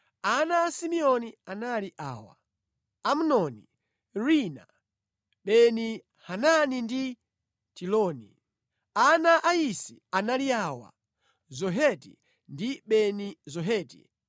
Ana a Simeoni anali awa: Amnoni, Rina, Beni-Hanani ndi Tiloni. Ana a Isi anali awa: Zoheti ndi Beni-Zoheti.